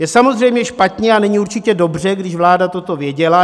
Je samozřejmě špatně a není určitě dobře, když vláda toto věděla.